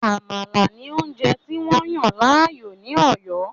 “Àmàlà” ni oúnjẹ tí wọ́n yàn láàyò ní Òyó.